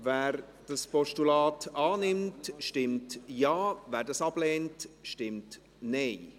Wer dieses Postulat annimmt, stimmt Ja, wer es ablehnt, stimmt Nein.